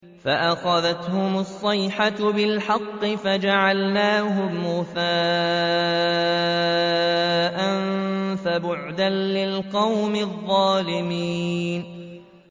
فَأَخَذَتْهُمُ الصَّيْحَةُ بِالْحَقِّ فَجَعَلْنَاهُمْ غُثَاءً ۚ فَبُعْدًا لِّلْقَوْمِ الظَّالِمِينَ